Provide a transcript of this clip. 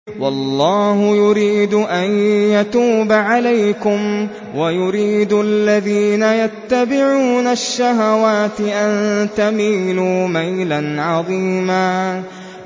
وَاللَّهُ يُرِيدُ أَن يَتُوبَ عَلَيْكُمْ وَيُرِيدُ الَّذِينَ يَتَّبِعُونَ الشَّهَوَاتِ أَن تَمِيلُوا مَيْلًا عَظِيمًا